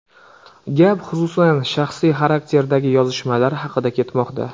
Gap, xususan, shaxsiy xarakterdagi yozishmalar haqidagi ketmoqda.